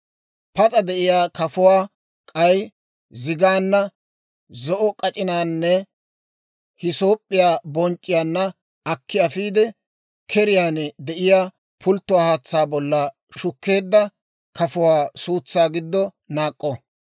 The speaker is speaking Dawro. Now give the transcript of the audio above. Pas'a de'iyaa kafuwaa, k'ay zigaanna, zo'o k'ac'inaananne hisoop'p'iyaa bonc'c'iyaanna akki afiide, keriyaan de'iyaa pulttiyaa haatsaa bolla shukkeedda kafuwaa suutsaa giddo naak'k'o.